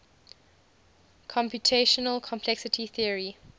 computational complexity theory